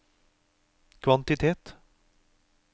kvantitet